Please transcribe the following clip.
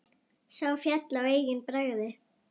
Sá féll á eigin bragði!